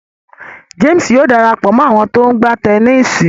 James Yóò darapọ mọ àwọn to ńgba Tẹníìsì.